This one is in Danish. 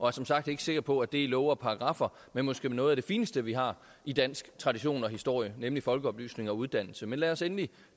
er som sagt ikke sikker på at det er love og paragraffer men måske noget af det fineste vi har i dansk tradition og historie nemlig folkeoplysning og uddannelse men lad os endelig